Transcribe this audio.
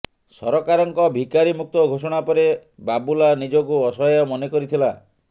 ସରକାରଙ୍କ ଭିକାରି ମୁକ୍ତ ଘୋଷଣା ପରେ ବାବୁଲା ନିଜକୁ ଅସହାୟ ମନେ କରିଥିଲା